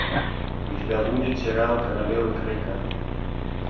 у тебя будет сериал королева крика